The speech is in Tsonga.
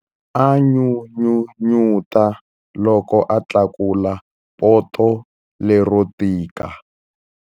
A n'unun'uta loko a tlakula poto lero tika.